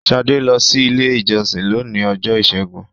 Shade lọ si ilé ìjósìn lóni Ọjọ́ Ìsẹ́gun